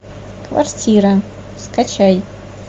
квартира скачай